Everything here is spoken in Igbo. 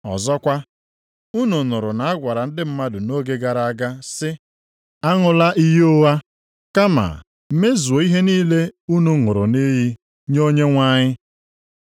“Ọzọkwa, unu nụrụ na a gwara ndị mmadụ nʼoge gara aga sị, ‘Aṅụla iyi ụgha, kama mezuo ihe niile unu ṅụrụ nʼiyi nye Onyenwe anyị.’